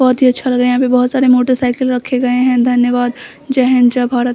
बहोत ही अच्छा लग रहा है यहाँ पर बहोत सारे मोटरसाइकल रखे हुए है धन्यवाद जय हिन्द जय भारत।